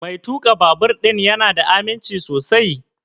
Mai tuƙa babur ɗin ya na da aminci sosai?